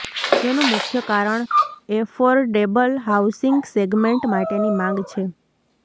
જેનું મુખ્ય કારણ એફોર્ડેબલ હાઉસિંગ સેગમેન્ટ માટેની માંગ છે